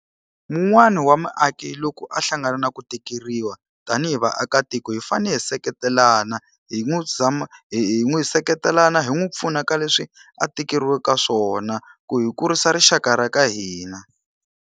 Wun'wani wa mumaki loko a hlangana na ku tikeriwa tanihi vaakatiko hi fanele hi seketelana, hi n'wi hi hi n'wi seketelana hi n'wi pfuna ka leswi a tikeriweke ka swona ku hi kurisa rixaka ra ka hina.